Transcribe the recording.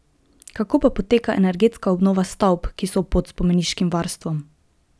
Kako pa poteka energetska obnova stavb, ki so pod spomeniškim varstvom?